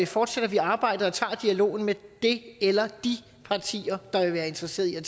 fortsætter vi arbejdet og tager dialogen med det eller de partier der vil være interesseret i at